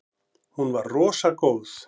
Hún var rosa góð.